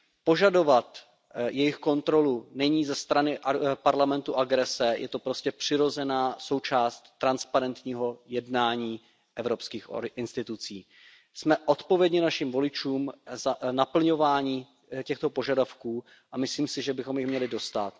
Požadovat jejich kontrolu není ze strany Parlamentu agrese, je to prostě přirozená součást transparentního jednání evropských institucí. Jsme odpovědni našim voličům za naplňování těchto požadavků a myslím si, že bychom jim měli dostát.